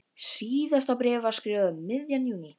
Síðasta bréfið var skrifað um miðjan júní.